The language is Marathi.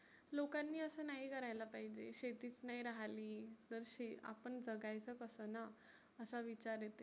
लोकांनी असं नाही करायला पाहिजे. शेतीच नाही रहाली आपण जगायच कसं ना? असा विचार येतो.